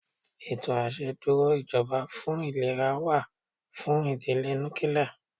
Ètò àṣẹ dúró ìjọba fún ìlera wà fún ìdílé núkíláá.